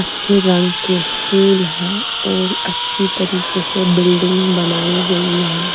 अच्छे रंग के फूल है और अच्छी तरीके से बिल्डिंग बनाई गयी है।